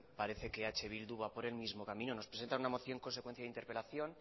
parece que eh bildu va por el mismo camino nos presenta una moción a consecuencia de interpelación